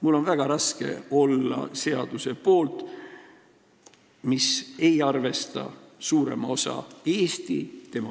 Mul on väga raske olla seaduse poolt, mis ei arvesta suurema osa Eesti